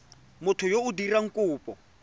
motho yo o dirang kopo